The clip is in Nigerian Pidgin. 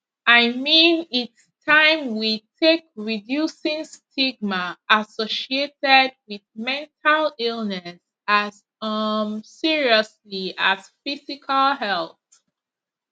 i mean its taim we take reducing stigma associated wit mental illness as um seriously as physical health